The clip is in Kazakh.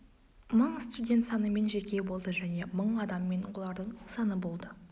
мың студент санымен жеке болды және мың адаммен олардың саны болды